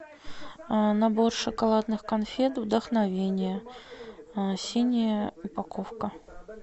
набор шоколадных конфет вдохновение синяя упаковка